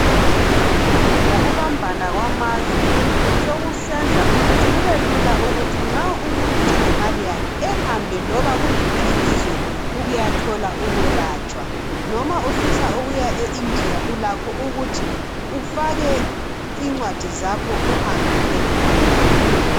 Ngokubambana kwamazwe sokusenza ukuthi kubelula ukuthi nxa umuntu elemali yakhe ehambe loba kuliphi ilizwe ukuyathola ukuyekwelatshwa, noma ufisa ukuya eIndiya ulakho ukuthi ufake incwadi zakho uhambe uyekwelatshwa.